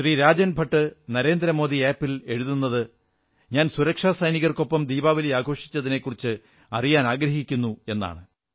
Rajan Bhat Narendra Modi app ൽ എഴുതുന്നത് ഞാൻ സുരക്ഷാസൈനികർക്കൊപ്പം ദീപാവലി ആഘോഷിച്ചതിനെക്കുറിച്ച് അറിയാനാഗ്രഹിക്കുന്നു എന്നാണ്